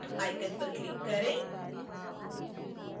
start icon पर click करें